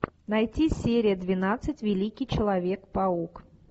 найти серия двенадцать великий человек паук